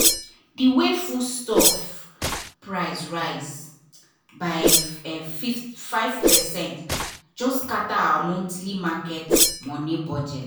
the way way foodstuff price rise by um 5 percent just scatter our monthly market money budget.